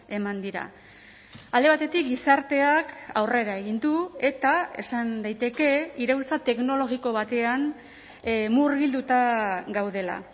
eman dira alde batetik gizarteak aurrera egin du eta esan daiteke iraultza teknologiko batean murgilduta gaudela